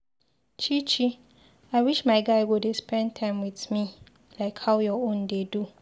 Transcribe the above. Chichi I wish my guy go dey spend time with me like how your own dey do.